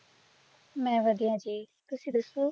ਮੈਂ ਵਧੀਆ ਜੀ ਤੁਸੀਂ ਦੱਸੋ?